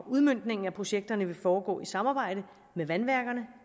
udmøntningen af projekterne vil foregå i samarbejde med vandværkerne